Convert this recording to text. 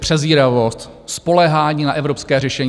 Přezíravost, spoléhání na evropské řešení.